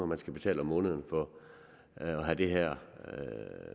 man skal tale om måneden for at have det her